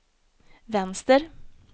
vänster